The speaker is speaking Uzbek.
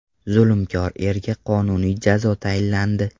Zulmkor erga qonuniy jazo tayinlandi.